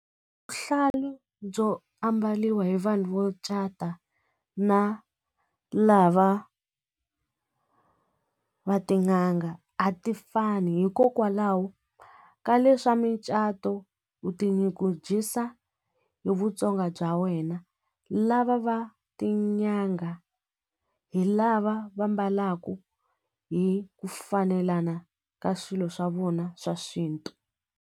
byo ambariwa hi vanhu vo cata na lava va tin'anga a ti fani hikokwalaho ka leswa micato u tinyungubyisa vutsonga bya wena lava va tinyanga hi lava va mbalaka hi ku fanelana ka swilo swa vona swa xintu.